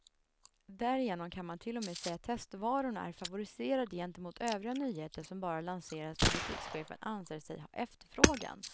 Därigenom kan man till och med säga att testvarorna är favoriserade gentemot övriga nyheter som bara lanseras där butikschefen anser sig ha efterfrågan.